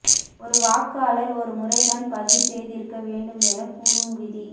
ஒரு வாக்காளர் ஒரு முறைதான் பதிவு செய்திருக்க வேண்டும் என கூறும் விதி